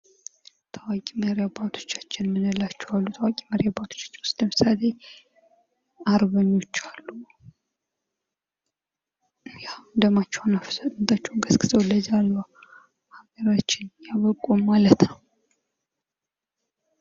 ታዋቂ መሪ አባቶቻችን የምንላቸው አሉ ። ታዋቂ መሪ አባቶቻችን ውስጥ ምሳሌ አርበኞች አሉ ። ያው ደማቸውን አፍሰው ፣ አጥንታቸውን ከስክሰው ለዛሬዋ ሀገራችን ያበቁ ማለት ነው ።